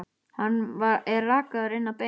Hann er rakaður inn að beini.